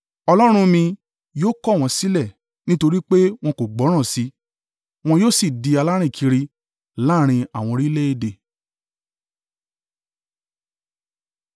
Ọlọ́run mi yóò kọ̀ wọ́n sílẹ̀ nítorí pé wọn kò gbọ́rọ̀ sí i; wọn yóò sì di alárìnkiri láàrín àwọn orílẹ̀-èdè.